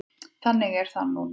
Þannig er það núna.